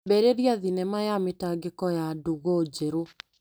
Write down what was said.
Ambĩrĩria thinema ya mĩtangĩko ya ndũgũ njerũ.